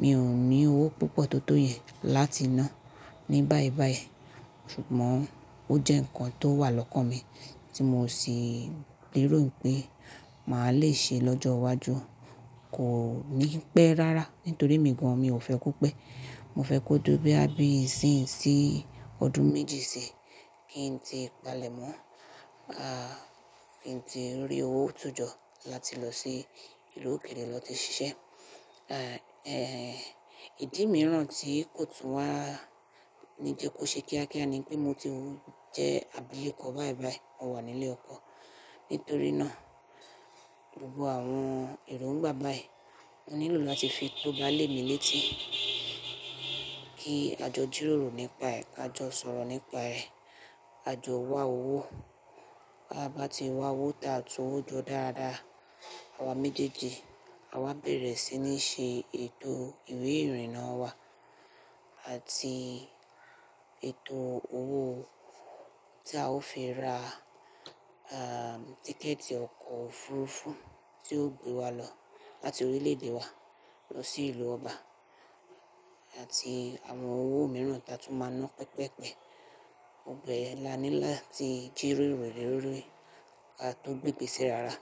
Mi ò ní owó púpọ̀ tó tó yẹn láti ná ní báìbàì. Ṣùgbọ́n ó jẹ́ ǹkan tó wà lọ́kàn mi tí mo sì lèrò pé màá le ṣe lọ́jọ́ iwájú. Kò ní pẹ́ rárá nítorí emi gan mi ò fẹ́ kó pẹ́. Mo fẹ́ kó duró bí a bí ìsín sí ọdún méjì sí kí n tí palèmọ́, ah, kí n tí rí owó tún jọ láti lọ sí ìlú òkèrè lọ ti ṣiṣẹ́. Ah, eh, ìdí mìíràn tí kò tún wá ní jẹ kó ṣe kíákíá ni pé mo ti jẹ́ àbilekọ̀ báìbàì. Mo wà nílé ọkọ. Nítorí náà gbogbo àwọn èrò ń gba báyìí. Mo nílò láti fi tó bá lé mi létí kí a jọ jírórò nípa ẹ̀, ka jọ sọ̀rọ̀ nípa ẹ̀, ka jọ wá owó. Bí a bá ti wá owó ta tú owó jọ dáadáa, àwa méjèèjì a wá bẹ̀rẹ̀ sí ní ṣe ètò ìwé ìrìnnà wá àti ètò owó tí a ó fi ra, ah, tíkẹ̀ẹ̀tì ọkọ̀ òfurufú tí ó gbé wa lọ láti orílẹ̀ èdè wa lọ sí ìlú ọba àti àwọn owó mìíràn tí a tún máa ná pẹpẹ́pẹ. Gbogbo yẹ̀n láńi láti jírórò le lorí kí a tó gbégbé se rara.